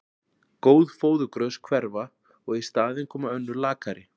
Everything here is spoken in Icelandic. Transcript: Góð fóðurgrös hverfa og í staðinn koma önnur lakari.